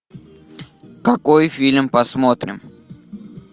какой фильм посмотрим